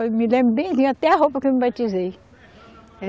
Eu me lembro bem, até a roupa que eu me batizei.